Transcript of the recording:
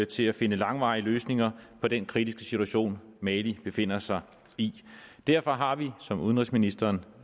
til at finde langvarige løsninger på den kritiske situation mali befinder sig i derfor har vi som udenrigsministeren